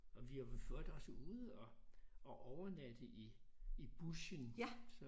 Og vi var for øvrigt også ude og og overnatte i i bushen så